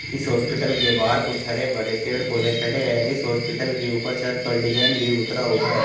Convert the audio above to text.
इस हॉस्पिटल के बाहर कुछ हरे भरे पेड़ पौधे खड़े हैं इस हॉस्पिटल के ऊपर छत पर डिजाइन भी उतरा हुआ है।